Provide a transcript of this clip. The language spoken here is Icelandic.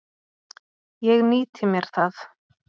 Ég nýti mér það.